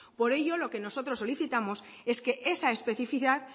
por ello lo que nosotros solicitamos es que esa especificad